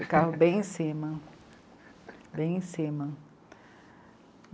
Ficavam bem em cima, bem em cima.